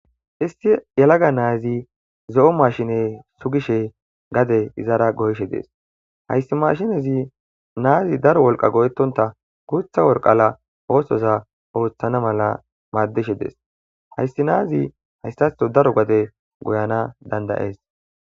issi yalaga naazi zo7o mashine sugishe gade izara goyshe dees hayssi mashinezi naazi daro wolqa go7etonta guutha worqala oosoza ooththana mala maaddishe dees hayssi naazi hayssatho daro gade goyana dandayees